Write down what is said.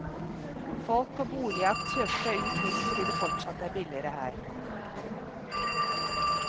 Folk på boligjakt søker seg ut hit fordi det fortsatt er billigere her.